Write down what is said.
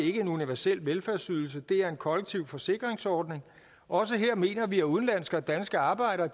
ikke en universel velfærdsydelse det er en kollektiv forsikringsordning også her mener vi at udenlandske og danske arbejdere